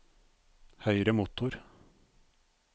høyre motor